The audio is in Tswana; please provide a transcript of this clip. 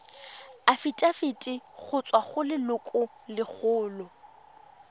afitafiti go tswa go lelokolegolo